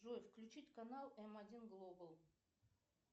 джой включить канал м один глобал